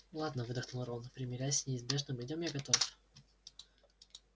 ладно выдохнул рон примирясь с неизбежным идём я готов